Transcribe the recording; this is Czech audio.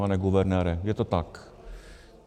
Pane guvernére, je to tak?